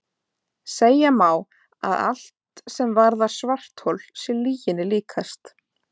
Segja má að allt sem varðar svarthol sé lyginni líkast.